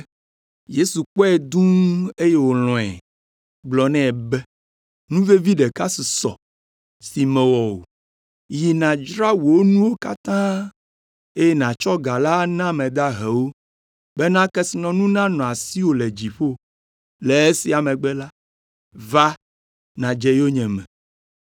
Yesu kpɔe dũ eye wòlɔ̃e, gblɔ nɛ be, “Nu vevi ɖeka susɔ si mèwɔ o. Yi nàdzra wò nuwo katã, eye nàtsɔ ga la ana ame dahewo bena kesinɔnuwo nanɔ asiwò le dziƒo. Le esia megbe la, va, nàdze yonyeme.”